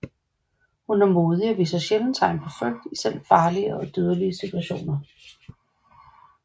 Hun er modig og viser sjældent tegn på frygt i selv farlige og dødelige situationer